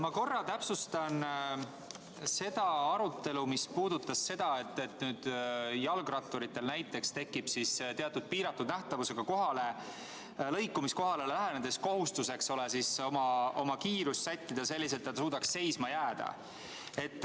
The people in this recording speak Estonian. Ma korra täpsustan arutelu, mis puudutas seda, et nüüd tekib jalgratturil näiteks piiratud nähtavusega lõikumiskohale lähenedes kohustus sättida kiirust selliselt, et ta suudaks seisma jääda.